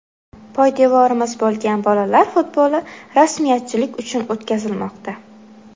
Poydevorimiz bo‘lgan bolalar futboli rasmiyatchilik uchun o‘tkazilmoqda.